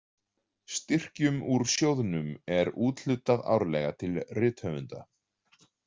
Styrkjum úr sjóðnum er úthlutað árlega til rithöfunda.